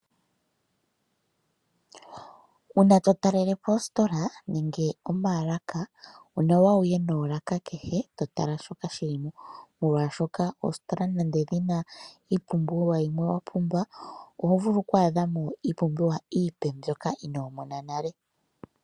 Uuna to talele po oositola nenge omaalaka, onawa wuye noolaka kehe to tala shoka shili mo. Molwashoka oositola nande dhina iipumbiwa yimwe wa pumbwa, oho vulu kwaadha mo iipumbiwa iipe mboka inoo mona nale.